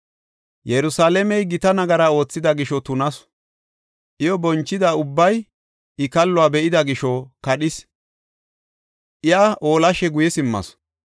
Yerusalaamey gita nagara oothida gisho tunasu; iyo bonchida ubbay I kalluwa be7ida gisho kadhees; iya oolashe guye simmasu.